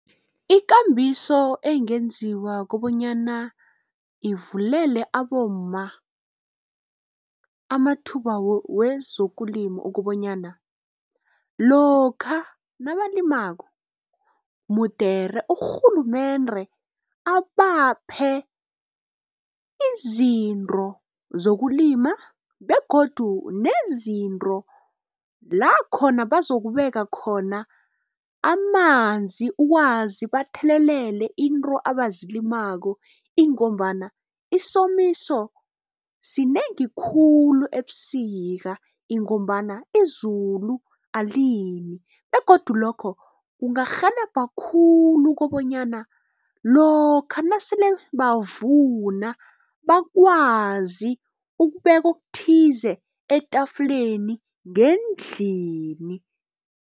Ikambiso ekungenziwa kobanyana ivulela abomma amathuba wezokulima ukobanyana. Lokha nabalimako mude urhulumende abaphe izinto zokulima begodu nezinto lakhona bazokubeka khona amanzi. Ukwazi bathelelele into abazilimako ingombana isomiso sinengi khulu ebusika ingombana izulu alini begodu lokho kungarhelebha khulu kobanyana lokha nasele bavuna bakwazi ukubeka okuthize etafuleni ngendlini.